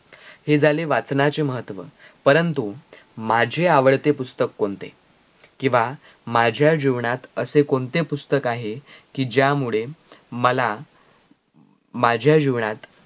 हे झाले वाचनाचे महत्व. परंतु माझे आवडते पुस्तक कोणते? किंव्हा माझ्या जीवनात असे कोणते पुस्तक आहे कि ज्या मुळे मला माझ्या जीवनात